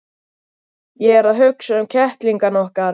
Ég er að hugsa um kettlingana okkar.